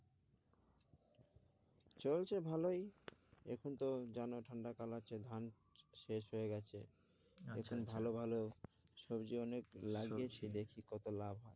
চলছে ভালোই এখন তো জানো ঠান্ডা কাল আছে, ধান শেষ হয়ে গেছে, এখন ভালো ভালো সবজি অনেক লাগিয়েছি, দেখি কত লাভ হয়?